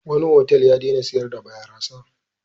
Wani otal ya daina sayar da barasa.